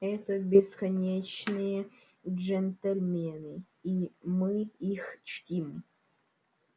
это бесконечные джентльмены и мы их чтим